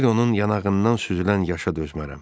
Bir onun yanağından süzülən yaşına dözmərəm.